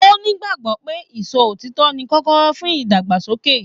O n'igbagbọ pé ìsọ òtítọ ní kọkọrọ fún ìdàgbàsókè.